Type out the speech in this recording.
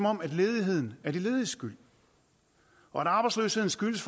om at ledigheden er de lediges skyld og at arbejdsløsheden skyldes